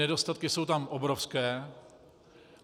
Nedostatky jsou tam obrovské.